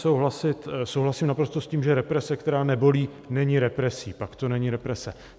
Souhlasím naprosto s tím, že represe, která nebolí, není represí, pak to není represe.